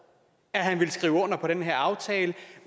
han ville skrive under på den her aftale